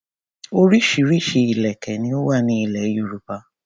Orísirísi ìlèkè ni ó wà ní ilẹ̀ Yorùbá.